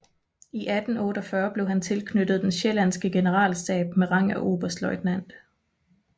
I 1848 blev han tilknyttet den sjællandske generalstab med rang af oberstløjtnant